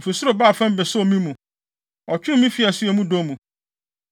“Ofi ɔsoro baa fam besoo me mu; ɔtwee me fii asu a emu dɔ mu.